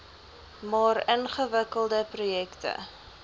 maar ingewikkelde projekte